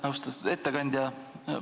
Austatud ettekandja!